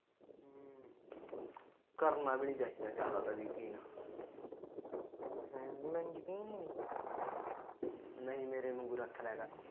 ਕਰਨਾ ਵੀ ਨਹੀਂ ਚਾਹੀਦਾ ਜਿਆਦਾ ਤਾ ਯਕੀਨ ਨਹੀਂ ਮੇਰੇ ਵਾਂਗੂ ਰਖਲਿਆ ਕਰ